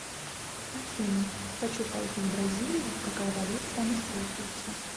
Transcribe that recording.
афина хочу поехать в бразилию какая валюта там используется